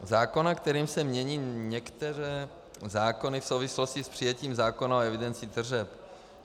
Zákona, kterým se mění některé zákony v souvislosti s přijetím zákona o evidenci tržeb.